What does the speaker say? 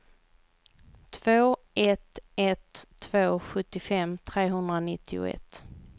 två ett ett två sjuttiofem trehundranittioett